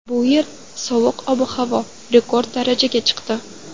Bu yilgi sovuq ob-havo rekord darajaga chiqdi.